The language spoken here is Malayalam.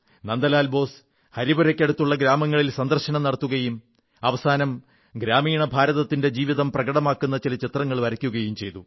നന്ദലാൽ ബോസ് ഹരിപുരയ്ക്കടുത്തുള്ള ഗ്രാമങ്ങളിൽ സന്ദർശനം നടത്തുകയും അവസാനം ഗ്രാമീണ ഭാരതത്തിന്റെ ജീവിതം പ്രകടമാക്കുന്ന ചില ചിത്രങ്ങൾ വരയ്ക്കുകയും ചെയ്തു